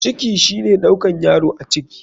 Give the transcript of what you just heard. Ciki shine ɗaukan yaro a ciki.